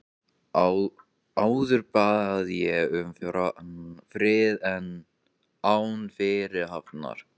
Áður bað ég um frið án fyrirhafnar.